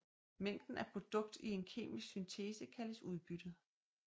Mængden af produkt i en kemisk syntese kaldes udbyttet